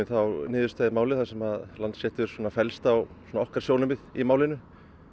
niðurstaða í málið þar sem Landsréttur fellst á okkar sjónarmið í málinu